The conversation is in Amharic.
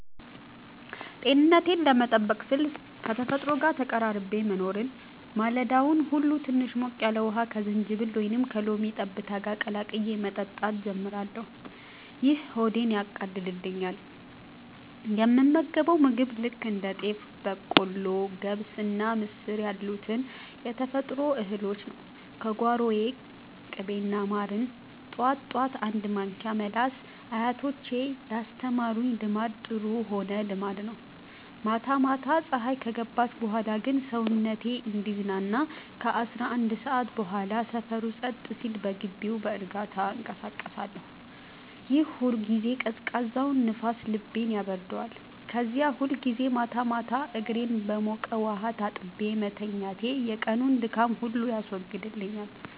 ጤንነቴን ለመጠበቅ ስል ከተፈጥሮ ጋር ተቀራርቤ መኖርን። ማለዳውን ሁሉ ትንሽ ሞቅ ያለ ውሃ ከዝንጅብል ወይም ከሎሚ ጠብታ ጋር ቀላቅዬ በመጠጣት ጀምራለሁ፤ ይህ ሆዴን ያቃልልኛል። የምመገበው ምግብ ልክ እንደ ጤፍ፣ በቆሎ፣ ገብስና ምስር ያሉትን የተፈጥሮ እህሎች ነው፤ ከጓሮዬ። ቅቤና ማርን ጠዋት ጠዋት አንድ ማንኪያ መላስ አያቶቼ ያስተማሩኝ ልማድ ጥሩ ሆነ ልማድ ነው። ማታ ማታ ፀሀይ ከገባች በኋላ ግን ሰውነቴ እንዲዝናና ከ11 ሰዓት በኋላ ሰፈሩ ጸጥ ሲል በግቢው በእርጋታ እንቀሳቀሳለሁኝ። ያን ጊዜ ቀዝቃዛው ንፋስ ልቤን ያበርደዋል። ከዚያ ሁልጊዜ ማታ እግሬን በሞቀ ውሃ ታጥቤ መተኛቴ የቀኑን ድካም ሁሉ ያስወግድልኛል።